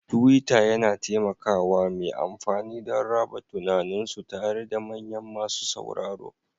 Tuwiitter yana taimaka wa mai amfani don raba tunaninsu tare da manyan masu sauraro